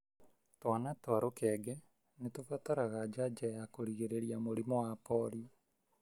Twana twa rukenge nĩtubataraga janjo ya kũrigĩrĩrĩa mũrimũ wa polio.